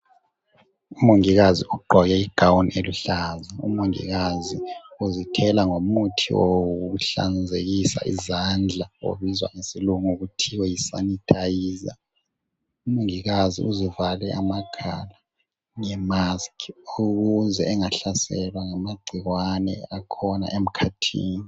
Umongikazi ugqoke igawuni eliluhlaza. Umongikazi uzithela ngomuthi wokuhlanzekisa izandla obizwa ngesilungu kuthiwa yisanitiser. Umongikazi uzivale amakhala ngemask ukuze engahlaselwa ngamagcikwane akhona emkhathini.